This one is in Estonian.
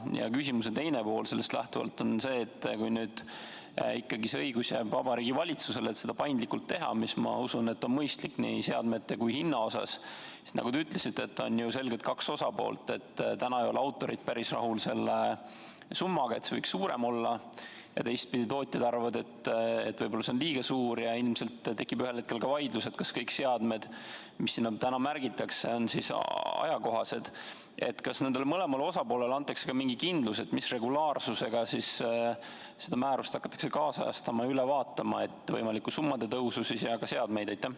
Ja küsimuse teine pool sellest lähtuvalt on see: kui nüüd ikkagi see õigus jääb Vabariigi Valitsusele, et seda paindlikult teha, mis on, ma usun, mõistlik nii seadmete kui ka hinna mõttes – sest, nagu te ütlesite, on selgelt kaks osapoolt: autorid ei ole päris rahul selle summaga ja leiavad, et see võiks suurem olla, teistpidi aga tootjad arvavad, et võib-olla see on liiga suur, ning ilmselt tekib ühel hetkel ka vaidlus, kas kõik seadmed, mis sinna märgitakse, on ajakohased –, siis kas mõlemale osapoolele antakse mingi kindlus, mis regulaarsusega seda määrust hakatakse siis kaasajastama ja üle vaatama, st võimalikku summade tõusu ja ka seadmeid?